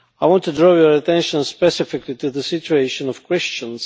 I want to draw your attention specifically to the situation of Christians.